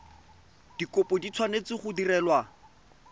dikopo di tshwanetse go direlwa